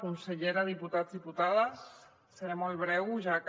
consellera diputats diputades seré molt breu ja que